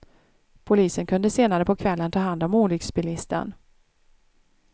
Polisen kunde senare på kvällen ta hand om olycksbilisten.